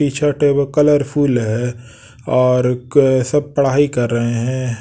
T-shirt है वो colourful है और अ सब पढ़ाई कर रहे हैं।